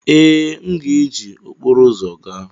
Ee, m ga-eji okporo ụzọ gaa.